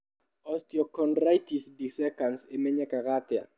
Osteochondritis dissecans ĩmenyekaga atĩa?